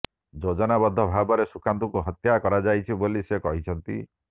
ଯୋଜନାବଦ୍ଧ ଭାବରେ ସୁଶାନ୍ତଙ୍କୁ ହତ୍ୟା କରାଯାଇଛି ବୋଲି ସେ କହିଛନ୍ତି